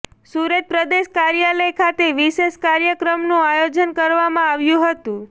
સુરત પ્રદેશ કાર્યાલય ખાતે વિશેષ કાર્યક્રમનું આયોજન કરવામાં આવ્યું હતું